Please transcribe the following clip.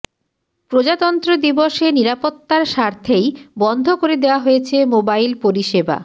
প্রজাতন্ত্র দিবসে নিরাপত্তার স্বার্থেই বন্ধ করে দেওয়া হয়েছে মোবাইল পরিষেবা